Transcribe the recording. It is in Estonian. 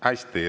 Hästi.